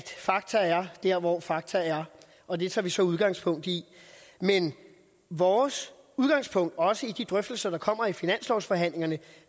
fakta er der hvor fakta er og det tager vi så udgangspunkt i men vores udgangspunkt også i de drøftelser der kommer i finanslovsforhandlingerne